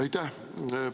Aitäh!